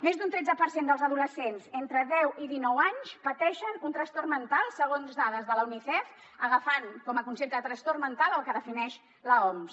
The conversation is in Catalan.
més d’un tretze per cent dels adolescents entre deu i dinou anys pateixen un trastorn mental segons dades de l’unicef agafant com a concepte de trastorn mental el que defineix l’oms